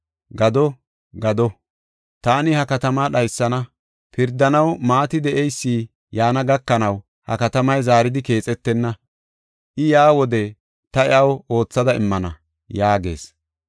Gado! Gado! Taani ha katamaa dhaysana. Pirdanaw maati de7eysi yaana gakanaw ha katamay zaaridi keexetenna. I yaa wode ta iyaw aathada immana” yaagees.